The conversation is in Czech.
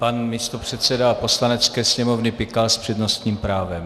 Pan místopředseda Poslanecké sněmovny Pikal s přednostním právem.